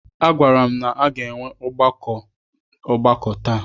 A gwara m na a ga-enwe ọgbakọ ọgbakọ taa.